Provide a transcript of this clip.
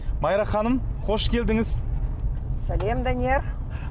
майра ханым қош келдіңіз сәлем данияр